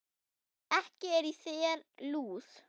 Ekki er í þér lús